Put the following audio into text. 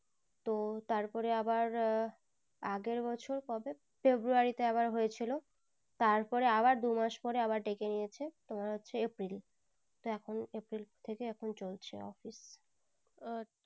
তো তারপরে আবার আগের বছর কবে February তে আবার হয়েছিল তারপরে আবার দু মাস পরে আবার ডেকে নিয়েছে তোমার হচ্ছে April তা এখুন April থেকে এখুন চলছে office আহ